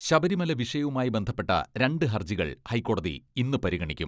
ശബരിമല വിഷയവുമായി ബന്ധപ്പെട്ട രണ്ട് ഹർജി കൾ ഹൈക്കോടതി ഇന്ന് പരിഗണിക്കും.